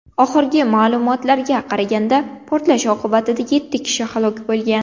Oxirgi ma’lumotlarga qaraganda, portlash oqibatida yetti kishi halok bo‘lgan.